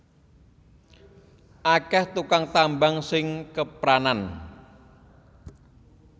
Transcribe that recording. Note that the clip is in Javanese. Akeh tukang tambang sing kepranan